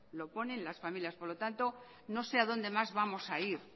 lo ponen las familias por lo tanto no sé a dónde más a ir